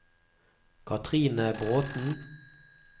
Cathrine Bråthen